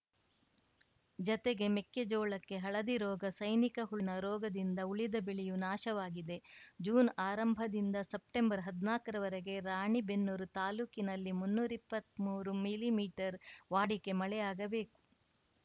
ಜತೆಗೆ ಮೆಕ್ಕೆಜೋಳಕ್ಕೆ ಹಳದಿ ರೋಗ ಸೈನಿಕ ಹುಳುವಿನ ರೋಗದಿಂದ ಉಳಿದ ಬೆಳೆಯೂ ನಾಶವಾಗಿದೆ ಜೂನ್‌ ಆರಂಭದಿಂದ ಸೆಪ್ಟೆಂಬರ್‌ ಹದ್ನಾಕರವರೆಗೆ ರಾಣಿಬೆನ್ನೂರು ತಾಲೂಕಿನಲ್ಲಿ ಮುನ್ನೂರಾ ಇಪ್ಪತ್ಮೂರು ಮಿಲಿಮೀಟರ್ ವಾಡಿಕೆ ಮಳೆಯಾಗಬೇಕು